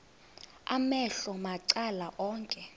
amehlo macala onke